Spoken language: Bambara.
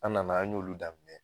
An nana an y'olu daminɛ